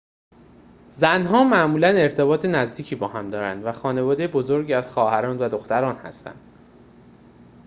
زنان معمولاً ارتباط نزدیکی با هم دارند و خانواده بزرگی از خواهران و دختران هستند